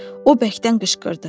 O bərkdən qışqırdı.